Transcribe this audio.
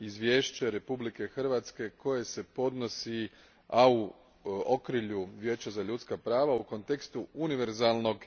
izvješće Republike Hrvatske koje se podnosi, a u okrilju Vijeća za ljudska prava, u kontekstu univerzalnog